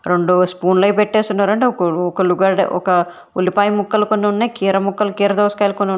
రెండు స్పూన్లు అవి పెట్టేసి ఉన్నారంట ఒక ఒక ఉల్లిగడ్డ ఉల్లిపాయలు కొన్ని ఉన్నాయి కీర ముక్కలు కీర దోసకాయలు కొన్ని ఉన్నాయి.